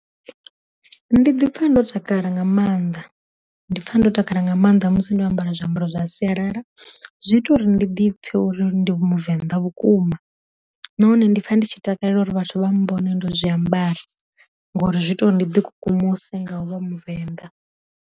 Ndi ḓi pfa ndo takala nga maanḓa ndi pfa ndo takala nga maanḓa musi ndo ambara zwiambaro zwa sialala, zwi ita uri ndi ḓipfe uri ndi muvenḓa vhukuma, na hone ndi pfa ndi tshi takalela uri vhathu vha mbone ndo zwi ambara ngori zwi ita uri ndi ḓi kukumuse nga u vha muvenda.